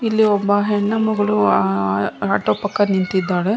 ಇಲ್ಲಿ ಒಬ್ಬ ಹೆಣ್ಣು ಮಗಳು ಆ ಆ ಆಟೋ ಪಕ್ಕ ನಿಂತಿದ್ದಾಳೆ.